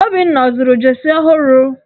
Obinna ọ zụrụ jeesi ọhụrụ?